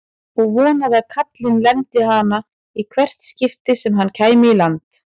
Og vonaði að kallinn lemdi hana í hvert skipti sem hann kæmi í land!